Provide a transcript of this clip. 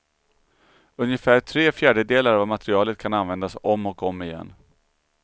Ungefär tre fjärdedelar av materialet kan användas om och om igen.